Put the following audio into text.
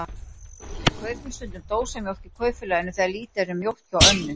Við kaupum stundum dósamjólk í Kaupfélaginu þegar lítið er um mjólk hjá Önnu.